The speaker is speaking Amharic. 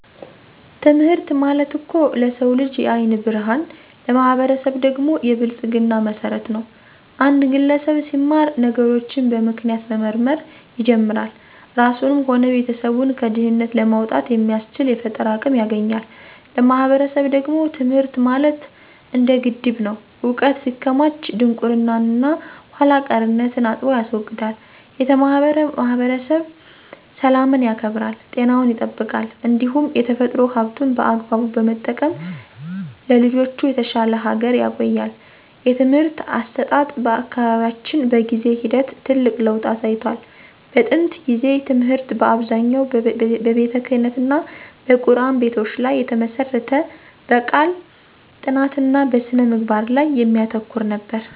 ትምህርት ማለት እኮ ለሰው ልጅ የዓይን ብርሃን፣ ለማህበረሰብ ደግሞ የብልጽግና መሰረት ነው። አንድ ግለሰብ ሲማር ነገሮችን በምክንያት መመርመር ይጀምራል፤ ራሱንም ሆነ ቤተሰቡን ከድህነት ለማውጣት የሚያስችል የፈጠራ አቅም ያገኛል። ለማህበረሰብ ደግሞ ትምህርት ማለት እንደ ግድብ ነው፤ ዕውቀት ሲከማች ድንቁርናንና ኋላ ቀርነትን አጥቦ ያስወግዳል። የተማረ ማህበረሰብ ሰላምን ያከብራል፣ ጤናውን ይጠብቃል እንዲሁም የተፈጥሮ ሀብቱን በአግባቡ በመጠቀም ለልጆቹ የተሻለች ሀገር ያቆያል። የትምህርት አሰጣጥ በአካባቢያችን በጊዜ ሂደት ትልቅ ለውጥ አሳይቷል። በጥንት ጊዜ ትምህርት በአብዛኛው በቤተክህነትና በቁርአን ቤቶች ላይ የተመሰረተ፣ በቃል ጥናትና በስነ-ምግባር ላይ የሚያተኩር ነበር።